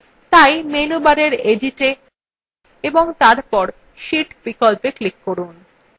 তাই menu bar editwe এবং তারপর sheet বিকল্পে click করুন